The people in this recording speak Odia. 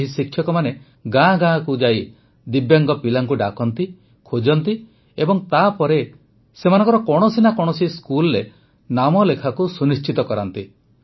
ଏହି ଶିକ୍ଷକମାନେ ଗାଁ ଗାଁ ଯାଇ ଦିବ୍ୟାଙ୍ଗ ପିଲାଙ୍କୁ ଡାକନ୍ତି ଖୋଜନ୍ତି ଏବଂ ତାପରେ ସେମାନଙ୍କର କୌଣସି ନା କୌଣସି ସ୍କୁଲରେ ନାମଲେଖାକୁ ସୁନିଶ୍ଚିତ କରାନ୍ତି